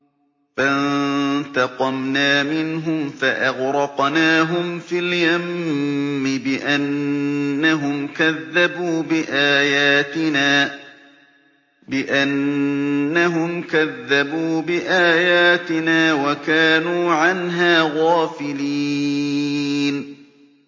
فَانتَقَمْنَا مِنْهُمْ فَأَغْرَقْنَاهُمْ فِي الْيَمِّ بِأَنَّهُمْ كَذَّبُوا بِآيَاتِنَا وَكَانُوا عَنْهَا غَافِلِينَ